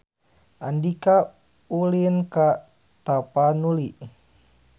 Andika ulin ka Tapanuli